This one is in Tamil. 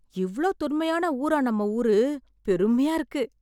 இவ்ளோ தொன்மையான ஊரா நம்ம ஊரு! பெருமையா இருக்கு.